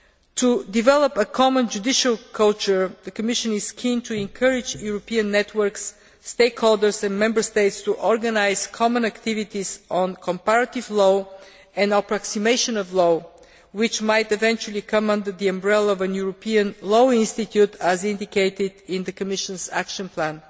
To develop a common judicial culture, the Commission is keen to encourage European networks, stakeholders and Member States to organise common activities on comparative law and approximation of law, which might eventually come under the umbrella of a European Law Institute, as indicated in the Commission's Action Plan.